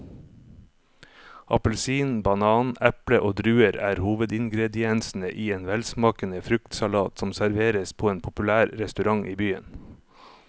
Appelsin, banan, eple og druer er hovedingredienser i en velsmakende fruktsalat som serveres på en populær restaurant i byen.